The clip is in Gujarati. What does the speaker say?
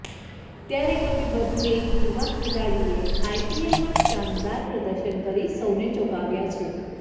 ત્યારે હવે વધુ એક યુવા ખેલાડીએ આઈપીએલમાં શાનદાર પ્રદર્શન કરી સૌને ચોંકાવ્યા છે